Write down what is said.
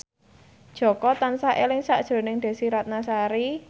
Jaka tansah eling sakjroning Desy Ratnasari